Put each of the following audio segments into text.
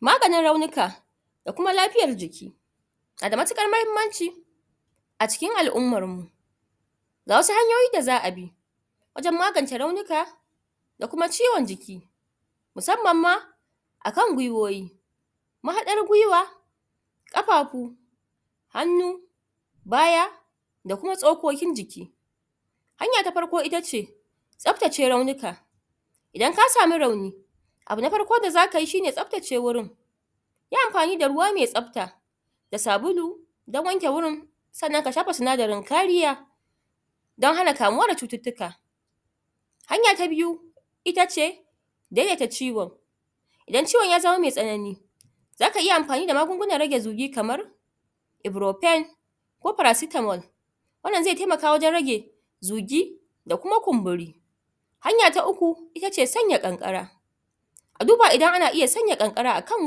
maganin raunika da kuma lafiyar jiki nada matuƙar mahimmanci a cikin al'ummarmu ga wasu hanyoyi da za a bi wajan magance raunika da kuma ciwan jiki musamman ma akan gwiwoyi mahaɗar gwiwa kafafu hannu baya da kuma tsokokin jiki hanya ta farko itace tsaftace raunika idan ka sami rauni abu na farko da zakai shine tsaftace wurin yi amfani da ruwa me tsafta da sabulu dan wanke wurin sannan ka shafa sinadarin kariya dan hana kamuwa da cututtuka hanya ta biyu itace daidaita ciwo idan ciwan ya zama me tsanani zaka iya amfani da magangunan rage zugi kamar ebro pain ko paracetamol wannan zai taimaka wajan rage zugi da kuma kumburi hanya ta uku itace sanya ƙanƙara a duba idan ana iya sanya ƙanƙara akan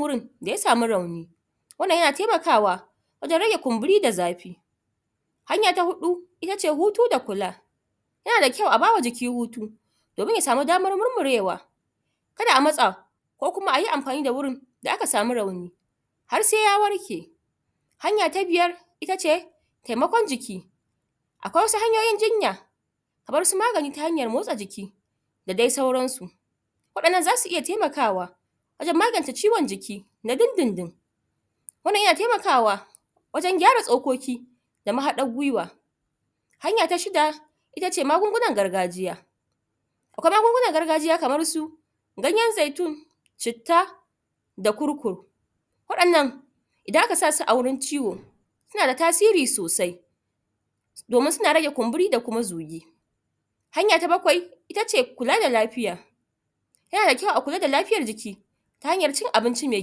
wurin da ya samu rauni wannan yana taimakawa wajan rage kumburi da zafi hanya ta huɗu itace hutu da kula yana da kyau a bawa jiki hutu domin ya samu damar murmurewa kada a matsa ko kuma ayi amfani da wurin da aka samu rauni har sai ya warke hanya ta biyar itace taimakon jiki aƙwai wasu hanyoyin jinya kamarsu magani ta hanyar motsa jiki da dai sauransu waɗannan zasu iya taimakawa wajan magance ciwan jiki na dindindin wannan yana taimakawa wajan gyara tsokoki da mahaɗar gwiwa hanya ta shida itace magungunan gargajiya aƙwai magungunan gargajiya kamarsu ganyan zaitun citta da kurkur waɗannan idan aka sasu a wurin ciwo suna da tasiri sosai domin suns rage kunburi da kuma zugi hanya ta baƙwai itace kula da lafiya yana da kyau a kula da lafiyar jiki ta hanyar cin abinci me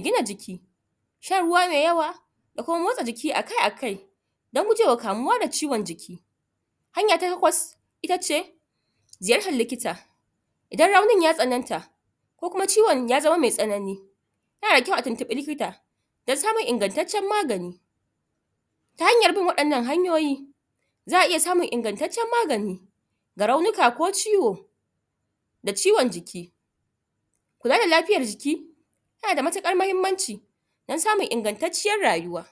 gina jiki shan ruwa me yawa da kuma motsa a jiki a kai a kai dan gujewa kamuwa da ciwan jiki hanya ta taƙwas itace ziyartar likita idan raunin ya tsananta ko kuma ciwan ya zama me tsanani yana da kyau a tuntuɓi likita don samun ingantaccan magani ta hanyar bin waɗannan hanyoyi za a iya samun ingantaccan magani ga raunika ko ciwo da ciwan jiki kula da lafiyar jiki tana da matuƙar mahimmanci dan samun ingantatciyar rayuwa